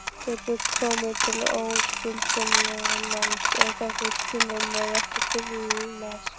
Getur komið til ógildingarmáls ef þessum skilyrðum er ekki fullnægt.